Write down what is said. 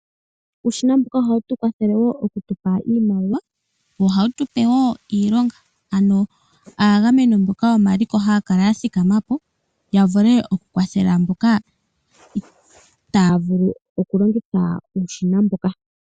Uushina mbuka ohawu tu kwathele wo oku tu pa iimaliwa, wo ohawu tu pe wo iilonga ano aagameni mboka yomaliko haya kala ya thikama po, ya vule oku kwathela mboka itaya vulu oku longitha uushina mboka.